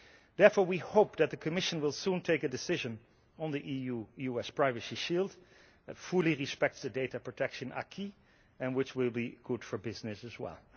Therefore, we hope that the Commission will soon take a decision on the EU US privacy shield that fully respects the data protection acquis and which will be good for business as well.